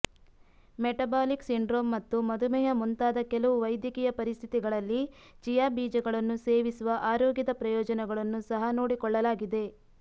metabolic syndrome ಮತ್ತು ಮಧುಮೇಹ ಮುಂತಾದ ಕೆಲವು ವೈದ್ಯಕೀಯ ಪರಿಸ್ಥಿತಿಗಳಲ್ಲಿ ಚಿಯಾ ಬೀಜಗಳನ್ನು ಸೇವಿಸುವ ಆರೋಗ್ಯದ ಪ್ರಯೋಜನಗಳನ್ನು ಸಹ ನೋಡಿಕೊಳ್ಳಲಾಗಿದೆ